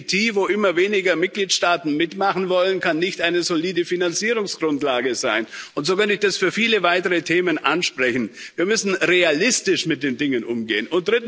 Eine FTT, wo immer weniger Mitgliedstaaten mitmachen wollen, kann keine solide Finanzierungsgrundlage sein. Und so werde ich das für viele weitere Themen ansprechen. Wir müssen realistisch mit den Dingen umgehen.